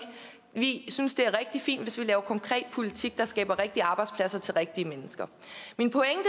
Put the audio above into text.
vi synes det er rigtig fint hvis vi laver konkret politik der skaber rigtige arbejdspladser til rigtige mennesker min pointe